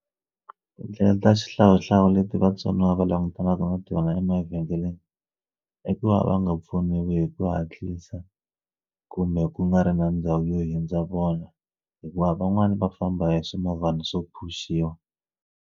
Tindlela ta xihlawuhlawu leti vatsoniwa va langutanaka na tona emavhengeleni i ku va va nga pfuniwi hi ku hatlisa kumbe ku nga ri na ndhawu yo hundza vona hikuva van'wani va famba hi swimovhana swo pfuxiwa.